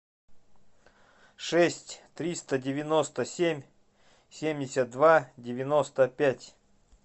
шесть триста девяносто семь семьдесят два девяносто пять